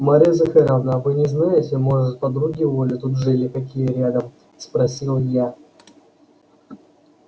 марья захаровна вы не знаете может подруги у оли тут жили какие рядом спросил я